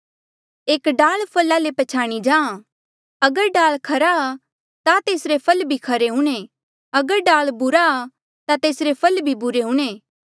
एक डाल फला ले ई पछ्याणया जाहाँ अगर डाल खरा ता तेसरे फल भी खरे हूंणे अगर डाल बुरा ता तेसरे फल भी बुरे हूंणे